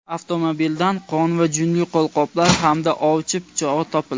Avtomobildan qon va junli qo‘lqoplar hamda ovchi pichog‘i topildi.